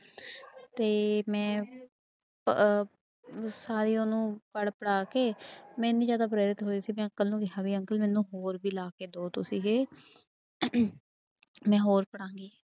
ਤੇ ਮੈਂ ਪ ਸਾਰੇ ਉਹਨੂੰ ਪੜ੍ਹ ਪੜ੍ਹਾ ਕੇ ਮੇਂ ਇੰਨੀ ਜ਼ਿਆਦਾ ਪ੍ਰੇਰਿਤ ਹੋਈ ਕਿ ਮੈਂ ਅੰਕਲ ਨੂੰ ਕਿਹਾ ਵੀ ਅੰਕਲ ਮੈਨੂੰ ਹੋਰ ਵੀ ਲਿਆ ਕੇ ਦਓ ਤੁਸੀਂ ਇਹ ਮੈਂ ਹੋਰ ਪੜ੍ਹਾਂਗੀ।